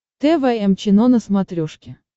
тэ вэ эм чено на смотрешке